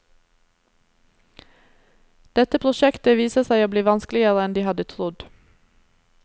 Dette prosjektet viser seg å bli vanskeligere enn de hadde trodd.